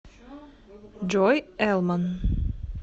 джой элман